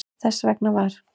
Þess vegna var